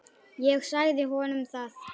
Ég sagði honum það.